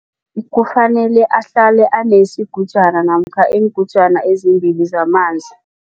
Kufanele ahlale anesigujana namkha iingutjana ezimbili zamanzi.